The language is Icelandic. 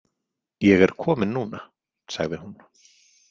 Ég er komin núna, sagði hún.